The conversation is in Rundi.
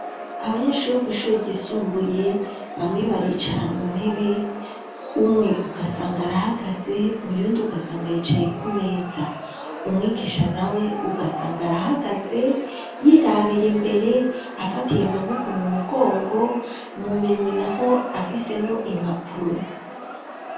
Abanyeshuri bo kw'ishure ryisumbuye bamwe baricara mu ntebe umwe ugasanga arahagaze uyundi ugasanga yicaye ku meza umwigisha nawe ugasanga arahagaze yirabira imbere afatiye amaboko mu mugongo mu minwe naho afisemwo impuro.